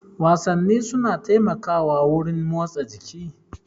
Wasanni suna taimakawa wurin motsa jiki.